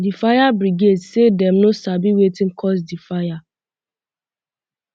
di fire um brigade say dem no sabi um wetin cause di fire